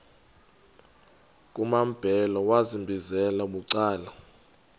kumambhele wambizela bucala